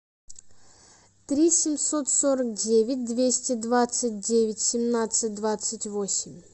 три семьсот сорок девять двести двадцать девять семнадцать двадцать восемь